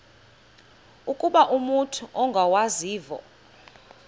ukuba umut ongawazivo